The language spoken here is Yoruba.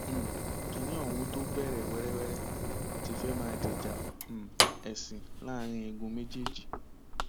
um kinni ohun tó bẹrẹ wẹrẹwẹrẹ ti fẹẹ máa di ìjà um ẹsìn láàrin igun méjèèjì